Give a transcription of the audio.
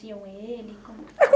ele, como que?